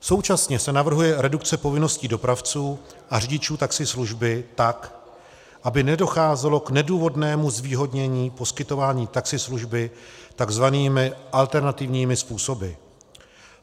Současně se navrhuje redukce povinností dopravců a řidičů taxislužby tak, aby nedocházelo k nedůvodnému zvýhodnění poskytování taxislužby tzv. alternativními způsoby.